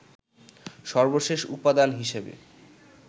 সর্বশেষ উপাদান হিসেবে